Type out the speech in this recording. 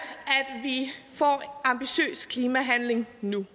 lige får ambitiøs klimahandling nu